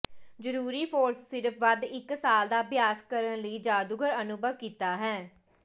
ਜ਼ਰੂਰੀ ਫੋਰਸ ਸਿਰਫ ਵੱਧ ਇੱਕ ਸਾਲ ਦਾ ਅਭਿਆਸ ਕਰਨ ਲਈ ਜਾਦੂਗਰ ਅਨੁਭਵ ਕੀਤਾ ਹੈ